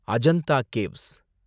Ajanta caves